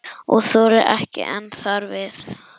Og þolir ekki enn þar við.